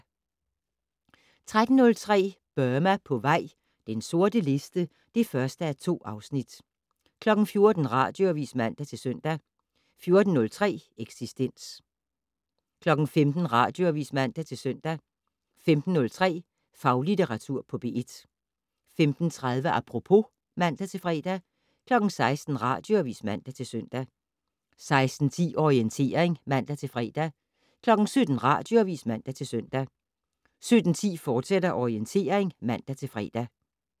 13:03: Burma på vej - den sorte liste (1:2) 14:00: Radioavis (man-søn) 14:03: Eksistens 15:00: Radioavis (man-søn) 15:03: Faglitteratur på P1 15:30: Apropos (man-fre) 16:00: Radioavis (man-søn) 16:10: Orientering (man-fre) 17:00: Radioavis (man-søn) 17:10: Orientering, fortsat (man-fre)